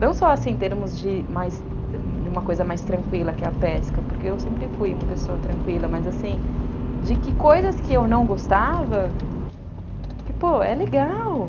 Não só, assim, em termos de uma coisa mais tranquila que a pesca, porque eu sempre fui uma pessoa tranquila, mas, assim, de que coisas que eu não gostava, que, pô, é legal.